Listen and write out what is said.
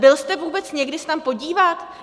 Byl jste vůbec někdy se tam podívat?